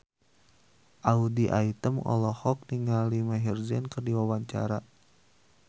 Audy Item olohok ningali Maher Zein keur diwawancara